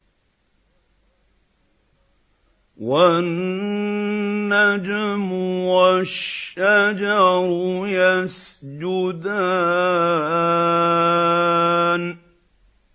وَالنَّجْمُ وَالشَّجَرُ يَسْجُدَانِ